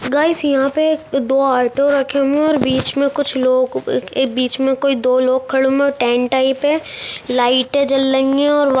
guys यहाँ पे दो ऑटो रखे हुए है और बीच में कुछ लोग बीच में कोई दो लोग खड़े हुए हैं और टेंट टाइप है लाइटें जल रही है और व --